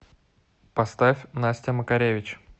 поставь настя макаревич